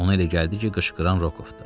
Ona elə gəldi ki, qışqıran Rokovdur.